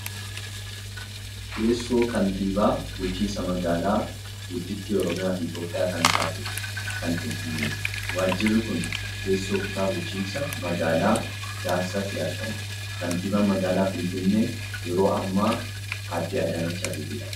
Teessoo kantiibaa bulchiinsa magaalaa gudditti Oromiyaa fi Itiyoophiyaa kan taate kan Finfinneeti. Waajjirri kun teessoo kutaa bulchiinsa magaalaa piyaassaatti argama . Kantiibaan magaalaa Finfinnee yeroo ammaa adde Adaanach Abeebeedha .